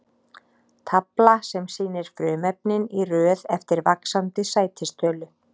Tafla sem sýnir frumefnin í röð eftir vaxandi sætistölu.